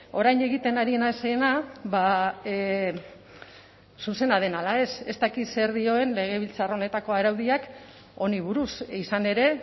orain egiten ari naizena zuzena den ala ez ez dakit zer dioen legebiltzar honetako araudiak honi buruz izan ere